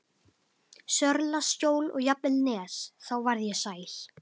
Sörlaskjól og jafnvel Nes, þá varð ég sæl.